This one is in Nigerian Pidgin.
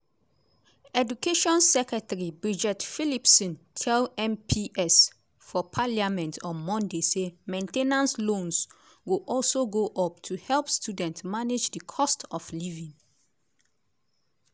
education secretary bridget phillipson tell mps for parliament on monday say main ten ance loans go also go up to help students manage di cost of living.